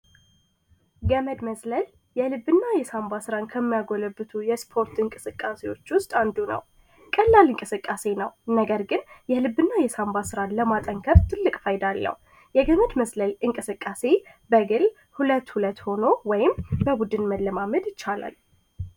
ገመድ መዝለል የልብ እና የሳንባ ጡንጫዎችን ለማዳበር ከሚጠቅሙን የስፖርት አይነቶች ውስጥ አንዱ ነው። ቀላል እንቅስቃሴ ነው። ነገር ግን የልብ እና የሳንባ ስራን ለማጠንከር ትልቅ ፋይዳ አለው። የገመድ ዝላይ የስፖርት እንቅስቃሴ በግል ወይም በ